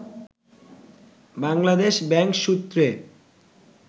Bangladesh bank সূত্রে